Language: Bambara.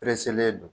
don